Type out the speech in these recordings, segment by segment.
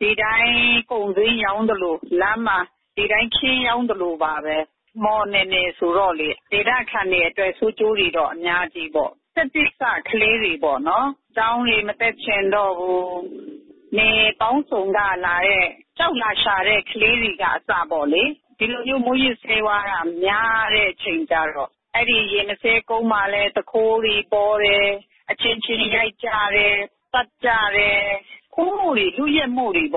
ဒီအတိုင်းကုန်စိမ်းရောင်းသလို လမ်းမှာ ဒီအတိုင်းခင်းရောင်းသလိုပါပဲ။ မှော်နယ်မြေဆိုတော့လေ။ ဒေသခံတွေအတွက်ဆိုးကျိုးတွေတော့ အများကြီးပေါ့။ တက်သစ်စကလေးတွေပေါ့နော် ကျောင်းတွေ မတက်ချင်တော့ဘူး။ နယ်ပေါင်းစုံကလာတဲ့ ကျောက်လာရှာတဲ့ ကလေးတွေကအစပေါ့လေ။ ဒီလိုမျိုးမူးယစ်ဆေးဝါးက များတဲ့အချိန်ကျတော့ အဲဒီရေမဆေးကုန်းမှာလည်း သူခိုးတွေ ပေါတယ်။ အချင်းချင်းရိုက်ကြတယ် သတ်ကြတယ်။ ခိုးမှုတွေလုယက်မှုတွေ အဲ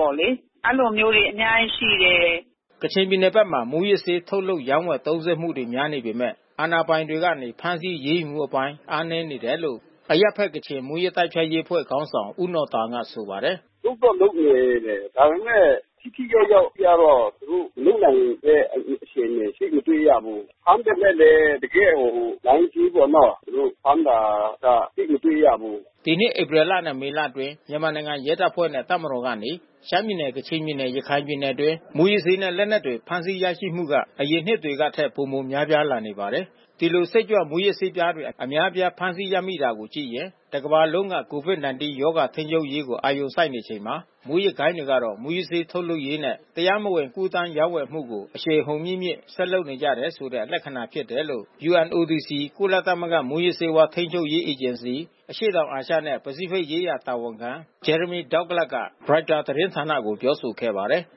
ဒီလိုမျိုးတွေအများကြီးရှိတယ်။” ကချင်ပြည်နယ်ဘက်မှာ မူးယစ်ဆေး ထုတ်လုပ်ရောင်းဝယ်သုံးစွဲမှုတွေ များနေပေမဲ့ အာဏာပိုင်တွေကနေ ဖမ်းဆီးအရေးယူမှုအပိုင်းတွေအားနည်းနေတယ်လို့ အရပ်ဘက်ကချင်မူးယစ်တိုက်ဖျက်ရေးအဖွဲ့ခေါင်းဆောင် ဦးနော်တောင် ကဆိုပါတယ်။ “လုပ်တော့လုပ်နေတယ်။ ဒါပေမဲ့ ထိထိရောက်ရောက်ကျတော့ သူတို့လုပ်နိုင်တဲ့အခြေအနေ သိပ်မတွေ့ရဘူး။ ဖမ်းပေမဲ့လည်း တကယ့်ဟို လိုင်းကြီးပေါ့နော်။ သူတို့ဖမ်းတာက သိပ်မတွေ့ရဘူး။ ဒီနှစ်ဧပြီလနဲ့မေလအတွင်း မြန်မာနိုင်ငံရဲတပ်ဖွဲ့နဲ့ တပ်မတော်ကနေ ရှမ်းပြည်နယ် ကချင်ပြည်နယ် ရခိုင်ပြည်နယ်အတွင်း မူးယစ်ဆေးနဲ့ လက်နက်တွေဖမ်းဆီးရရှိမှုက အရင်နှစ်တွေထက်ပိုမိုများပြားလာနေပါတယ်။ ဒီလို စိတ်ကြွမူးယစ်ဆေးပြားတွေ အများအပြားဖမ်းဆီးရမိတာကိုကြည့်ရင် တကမ္ဘာလုံးက COVID-19 ရောဂါထိန်းချုပ်ရေးကို အာရုံစိုက်နေချိန်မှာ မူးယစ်ဂိုဏ်းတွေကတော့ မူးယစ်ဆေး ထုတ်လုပ်ရေးနဲ့ တရားမဝင်ကူးသန်းရောင်းဝယ်မှုတွေကို အရှိန်အဟုန်မြင့်မြင့် ဆက်လုပ်နေကြတယ်ဆိုတဲ့ လက္ခဏာ ဖြစ်တယ်လို့ UNODC ကုလသမဂ္ဂ မူးယစ်ဆေးဝါးထိန်းချုပ်ရေးအေဂျင်စီ အရှေ့တောင်အာရှနဲ့ ပစိတ်ဖိတ်ရေးရာ တာဝန်ခံ Jeremy Douglas က ရိုက်တာသတင်းဌာနကို ပြောဆိုခဲ့ပါတယ်။